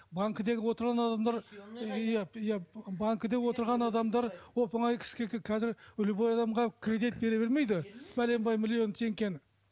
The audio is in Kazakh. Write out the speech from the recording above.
банкідегі отырған адамдар банкіде отырған адамдар оп оңай қазір любой адамға кредит бере бермейді бәленбай миллион теңгені